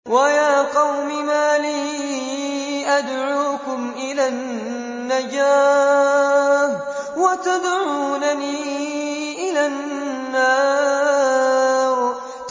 ۞ وَيَا قَوْمِ مَا لِي أَدْعُوكُمْ إِلَى النَّجَاةِ وَتَدْعُونَنِي إِلَى النَّارِ